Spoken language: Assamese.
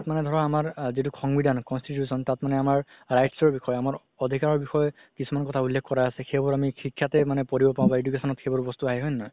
তাত মানে ধৰা আমাৰ যিতো সংবিধান constitution তাত মানে আমাৰ rights ৰ বিষয়ে অধিকাৰৰ বিষয়ে কিছুমান কথা উল্লেখ কৰা আছে সেইবোৰ আমি শিক্ষাতে মানে পঢ়িব পাও বা education ন সেইবোৰ বস্তু আহে হয় নে নহয়